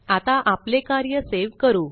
आता आपले कार्य सेव करू